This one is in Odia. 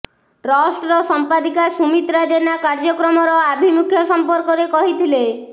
ଟ୍ରଷ୍ଟର ସମ୍ପାଦିକା ସୁମିତ୍ରା ଜେନା କାର୍ଯ୍ୟକ୍ରମର ଆଭିମୁଖ୍ୟ ସମ୍ପର୍କରେ କହିଥିଲେ